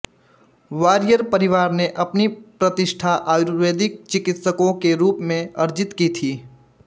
warrior परिवार ने अपनी प्रतिष्ठा आयुर्वेदिक चिकित्सकों के रूप में अर्जित की थी